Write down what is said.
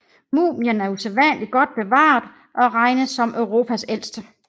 Mumien er usædvanligt godt bevaret og regnes som Europas ældste